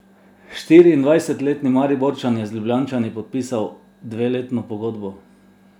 Štiriindvajsetletni Mariborčan je z Ljubljančani podpisal dveletno pogodbo.